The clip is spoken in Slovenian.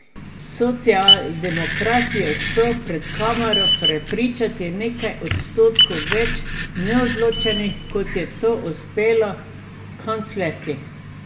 Socialdemokrat je uspel pred kamero prepričati nekaj odstotkov več neodločenih, kot je to uspelo kanclerki.